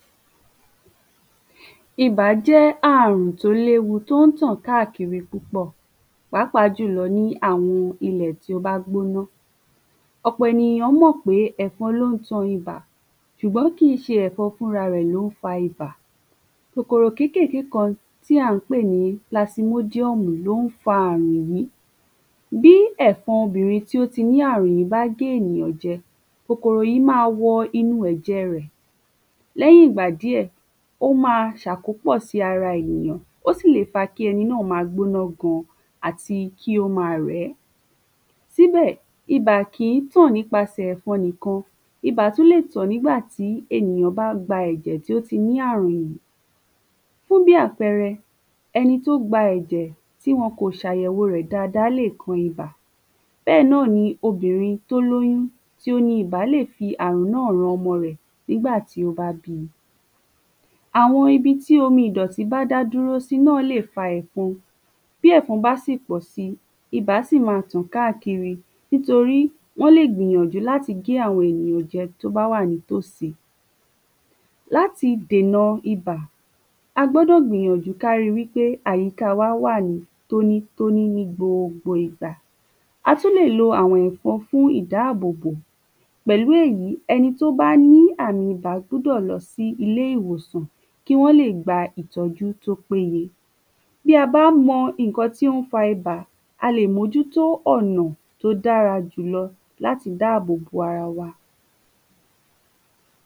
ibà jẹ́ àrùn tó léwu, tó ń tàn káàkiri púpọ̀ pàápàá jùlọ ní àwọn ilẹ̀ tó bá gbóná ọ̀pọ̀ ènìyàn rò pé ẹ̀fọn ló ń tan ibà ṣùgbọ́n kìí ṣe ẹ̀fọn fúnra rẹ̀ ló ń fa ibà kòkòrò kékèké kan tí à ń pè ní plasmodium lo ń fa àrùn yìí bí ẹ̀fọn obìrin tó ní àrùn yìí bá gé ènìyàn jẹ kòkòrò yìí máa wọ inú ẹ̀jẹ rẹ̀ lẹ́yìn ìgbà díẹ̀ ó máa ṣe àkópò sí ara ènìyàn ó sì lè fa ki ẹni náà máa gbóná gan àti kó máa rẹ̀ ẹ́ síbẹ̀ ibà kìí tàn nípasẹ̀ ẹ̀fọn nìkan, ibà tún lè tàn nígbà tí ènìyàn bá gba ẹ̀jẹ̀ tí ó ti ní àrùn yìí fún bí àpẹrẹ, ẹni tó gba ẹ̀jẹ̀ tí wọn kò ṣe àyẹ̀wo rẹ̀ dáadáa lè kó ibà, bẹ́ẹ̀ náà ni obìrin tó lóyún tí ò ní ibà lè fi àrùn náà ran ọmọ rẹ̀ nígbà tí ó bá bímọ àwọn ibi tí omi ìdọ̀tí bá dá dúró náà lè fa ẹ̀fọn bí ẹ̀fọn bá sì pọ̀ si, ibà sì máa tàn káàkiri, nítorí wọ́n lè gbìyànjú láti gé àwọn ènìyàn jẹ tó bá wà nítòsí láti dèna ibà, a gbọ́dọ̀ gbìyànjú láti ríi wípé àyíká wá wà ní tóní-tóní ní gbogbo ìgbà a tún lè lo àwọn ẹ̀fọn fún ìdáàbòbò, pẹ̀lu èyí ẹni tó bá ní àmi ibà gbọ́dọ̀ lọ sí ilé ìwòsàn fún ìtọ́jú tó péye bí a bá mọ ǹkan tó ń fa ibà a lè mójútó ọ̀nà tó dára jùlọ láti dáàbò bo ara wa